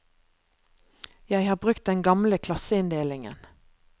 Jeg har brukt den gamle klasseinndelingen.